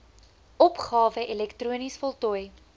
opgawe elektronies voltooi